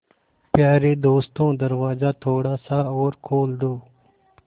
यारे दोस्तों दरवाज़ा थोड़ा सा और खोल दो